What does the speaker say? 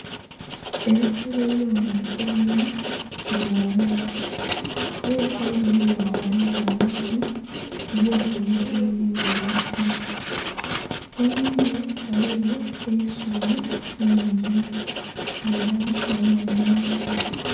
Ebisolo eby'omunsiko binha bili ghalala, ela ebisolo bino bighangalaiza amatu, bili oti eliyo kyebili ghulilisa. Ghebili ghaligho eisubi lingi, nga ela ghaligho nh'emiti.